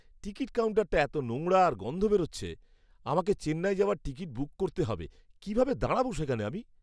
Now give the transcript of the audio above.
Ticket কাউন্টারটা এত নোংরা আর গন্ধ বেরোচ্ছে! আমাকে চেন্নাই যাওয়ার টিকিট বুক করতে হবে, কীভাবে দাঁড়াবো সেখানে আমি?